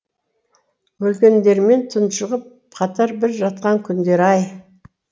өлгендермене тұншығып қатар бір жатқан күндер ай